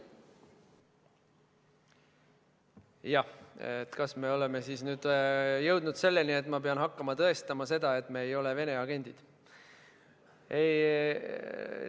Kas me oleme siis nüüd jõudnud selleni, et ma pean hakkama tõestama seda, et me ei ole Vene agendid?